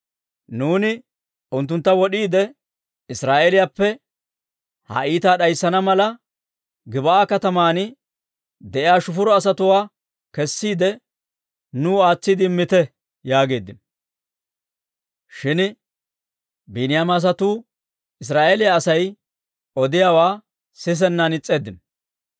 Nuuni unttuntta wod'iide, Israa'eeliyaappe ha iitaa d'ayssana mala, Gib'aa katamaan de'iyaa he shufuro asatuwaa kessiide, nuu aatsiide immite» yaageeddino. Shin Biiniyaama asatuu Israa'eeliyaa Asay odiyaawaa sisennaan is's'eeddino.